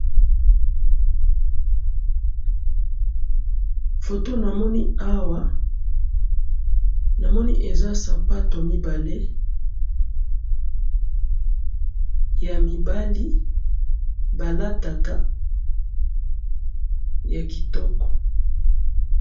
Photo namoni awa namoni eza sapato mibale ,ya mibali balataka ya kitoko